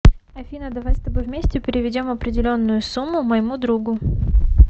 афина давай с тобой вместе переведем определенную сумму моему другу